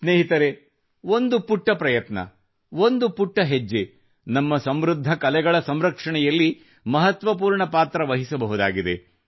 ಸ್ನೇಹಿತರೆ ಒಂದು ಪುಟ್ಟ ಪ್ರಯತ್ನ ಒಂದು ಪುಟ್ಟ ಹೆಜ್ಜೆ ನಮ್ಮ ಸಮೃದ್ಧ ಕಲೆಗಳ ಸಂರಕ್ಷಣೆಯಲ್ಲಿ ಮಹತ್ವಪೂರ್ಣ ಪಾತ್ರ ವಹಿಸಬಹುದಾಗಿದೆ